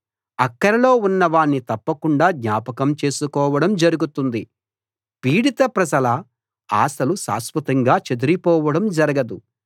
అక్కరలో ఉన్నవాణ్ణి తప్పకుండా జ్ఞాపకం చేసుకోవడం జరుగుతుంది పీడిత ప్రజల ఆశలు శాశ్వతంగా చెదిరిపోవడం జరగదు